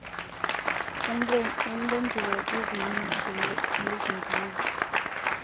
ulombiwo izinyithi nezimbiwa